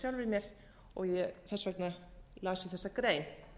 mér og þess vegna las ég þessa grein